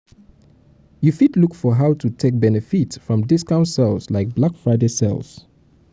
you fit look for how to take benefit from discount sales like black friday sales